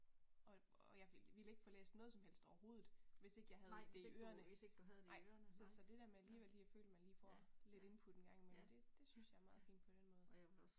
Og og jeg ville ville ikke få læst noget som helst overhovedet, hvis ikke jeg havde det i ørene, nej, så det der med alligevel lige at føle, at man lige får lidt input ind engang imellem, det synes jeg er meget fint på den måde